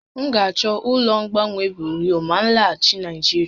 M ga-achọ ụlọ mgbanwe buriu ma m laghachi Naịjirịa